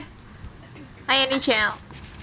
A Yani Jl